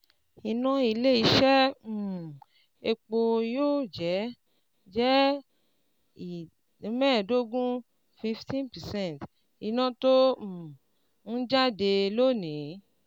Iná ilé iṣé um epo yóò jé jẹ́ ìd mẹ́ẹ̀dógún ( fifteen percent) iná tó um n jáde lónìí.